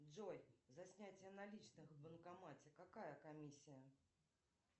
джой за снятие наличных в банкомате какая комиссия